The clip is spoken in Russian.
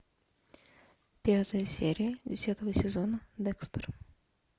пятая серия десятого сезона декстер